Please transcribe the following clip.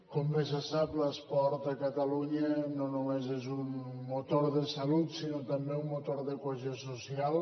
com bé se sap l’esport a catalunya no només és un motor de salut sinó també un motor de cohesió social